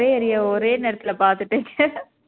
ஒரே நேரத்துல பார்த்துட்டு